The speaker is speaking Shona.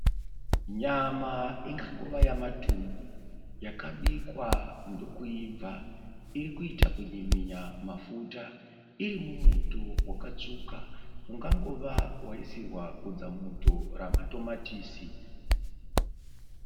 Nyama ingangova yamatumbu yakabikwa ndokuibva. Iri kuita kunyiminya mafuta iri mumuto wakatsvuka ungangova wasirwa godza muto ramatomatisi.